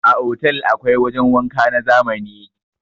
A Otal akwai wajan wanka na zamani.